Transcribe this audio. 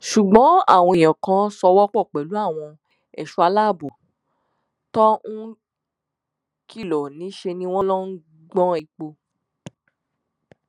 ṣùgbọn àwọn èèyàn kò ṣòwò pọ pẹlú àwọn ẹṣọ aláàbọ tó ń kìlọ níṣẹ ni wọn lọọ ń gbọn epo